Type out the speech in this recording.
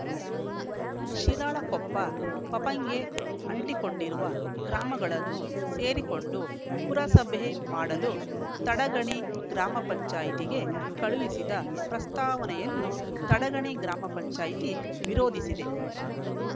ಶಿರಾಳಕೊಪ್ಪ ಪಪಂಗೆ ಅಂಟಿಕೊಂಡಿರುವ ಗ್ರಾಮಗಳನ್ನು ಸೇರಿಸಿಕೊಂಡು ಪುರಸಭೆ ಮಾಡಲು ತಡಗಣಿ ಗ್ರಾಮ ಪಂಚಾಯತಿ ಗೆ ಕಳಿಸಿದ ಪ್ರಸ್ತಾವನೆಯನ್ನು ತಡಗಣಿ ಗ್ರಾಮ ಪಂಚಾಯತಿ ವಿರೋಧಿಸಿದೆ